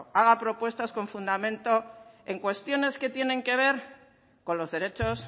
haga propuestas con fundamento en cuestiones que tienen que ver con los derechos